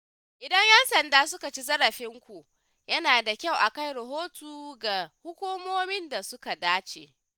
Idan ‘yan sanda suka ci zarafinku, yana da kyau a kai rahoto ga hukumomin da suka dace.